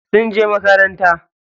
Yara sun je makaranta.